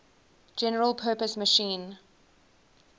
general purpose machine